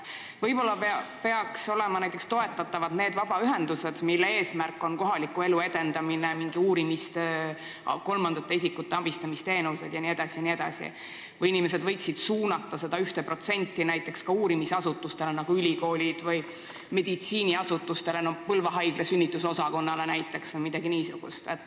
Võib-olla peaks toetama neid vabaühendusi, mille eesmärk on näiteks kohaliku elu edendamine, mingi uurimistöö, kolmandate isikute abistamise teenuste pakkumine, või võiksid inimesed suunata selle 1% ka uurimisasutustele, nagu ülikoolidele, või meditsiiniasutustele, näiteks Põlva haigla sünnitusosakonnale.